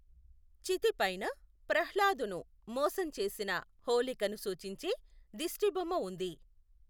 చితి పైన ప్రహ్లాదును మోసం చేసిన హోళికను సూచించే దిష్టిబొమ్మ ఉంది.